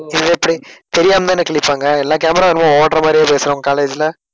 இது எப்பிடி தெரியாமதான கிழிப்பாங்க எல்லா camera ஓடற மாதிரியே பேசற உங்க college ல